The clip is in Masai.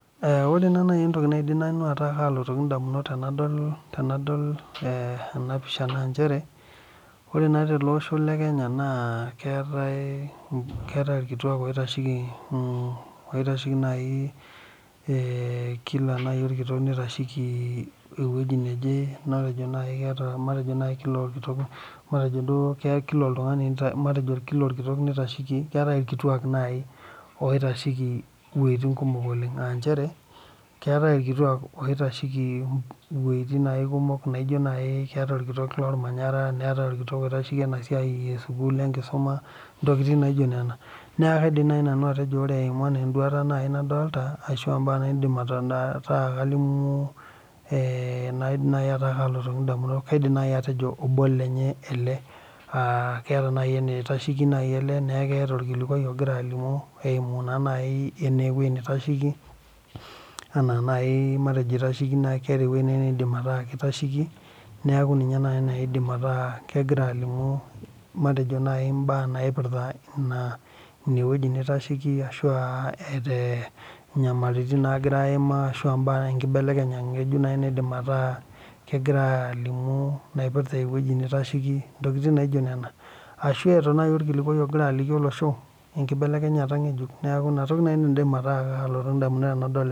Ore naa naaji entoki naidim ataa kalotoki edamunot tenadol ena pisha naa njere naa tele Osho lee Kenya naa keetae irkituak oitasheki naaji kila naaji orkitok naitasheki ewueji neje matejo naaji kila orkitok keetae naaji irkituak oitasheki wuejitin kumok oleng aa njere keetae irkituak oitasheki wuejitin naaji kumok enaa keetae orkitok lormanyara neetae orkitok oitasheki enewueji e sukuul enkisuma ntokitin naijio Nena neeku kaidim naaji nanu atejo ena enduata ai nadolita ashu mbaa naidim ataa kalimu naidim ataa kalotoki edamunot kaidim atejo obo lenye ele aa keeta naa enitasheki ele neeku keeta orkilikuai ogira alimu eyimu ninye enaa ewueji nitasheki enaa naaji matejo eitasheki keeta naaji ewueji naa kitasheki neeku enaa naaji edim ataasa kegira alimu matejo naaji mbaa naipirta ene wueji nitasheki ashu etaa nyamalitin naagira ayimaa ashua mbaa sidain nkibelekenyata ng'ejuk naidim ataa kegira alimu naipirta ewueji nitasheki ntokitin naijio Nena ashu etaa naaji orkilikuai ogira aliki olosho lenkibelelkenyata ng'ejuk neeku ena toki naaji nanu naidim ataa kalotu edamunot tenadol ena